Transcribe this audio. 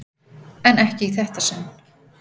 En ekki í þetta sinn.